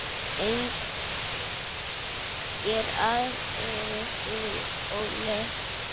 Engir aðrir? spurði Óli.